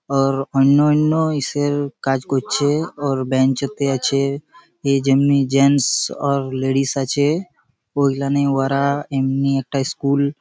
Or ওইন্ন ওইন্ন ইসের কাজ করছে। অর বেঞ্চতে আছে এ যেমনি জেমস অর লেডিস আছে। ঐখানে ওয়ারা এমনি একটা স্কুল --